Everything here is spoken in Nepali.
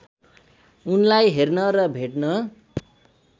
उनलाई हेर्न र भेट्न